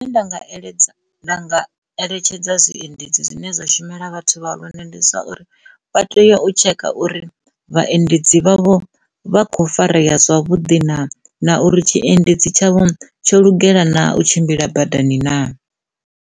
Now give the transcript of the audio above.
Zwine nga eletshedza, nda nga eletshedza zwiendedzi zwine zwa shumela vhathu vha lune ndi zwa uri vha tea u tsheka uri vhaendedzi vhavho vha kho farea zwavhuḓi na na uri tshiendedzi tshavho tsho lugela na u tshimbila badani na.